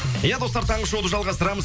иә достар таңғы шоуды жалғастырамыз